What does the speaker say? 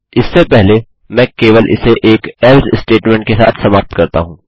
इससे पहले मैं केवल इसे एक एल्से स्टेटमेंट के साथ समाप्त करता हूँ